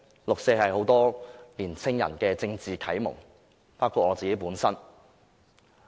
六四是很多年青人的政治啟蒙，包括我自己。